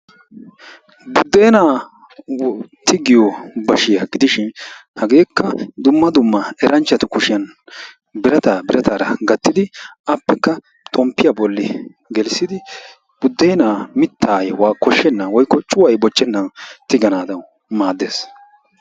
Buddenaa tigiyoo baashshiyaa gidishin hageekka dumma dumma eranchatu kushshiyaan birataa birataara gaattidi appekka xomppiyaa boollan geellisidi buddeenaa cuuqay boochchenaadan tiiganawu maaddees.